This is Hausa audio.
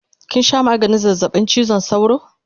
Kinsha maganin zazzabin chizon sauro?